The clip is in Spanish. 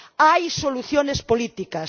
Hay soluciones políticas.